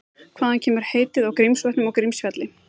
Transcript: Hvaðan kemur heitið á Grímsvötnum og Grímsfjalli?